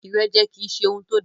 Ìrẹ́jẹ kì í ṣe ohun tó da.